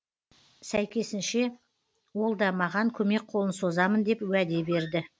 сәйкесінше ол да маған көмек қолын созамын деп уәде берді